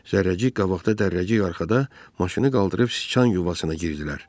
Zərrəcik qabaqda, Dərrəcik arxada maşını qaldırıb sıçan yuvasına girdilər.